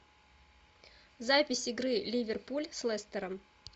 запись игры ливерпуль с лестером